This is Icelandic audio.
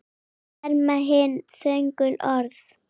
Þau verma hin þögulu orð.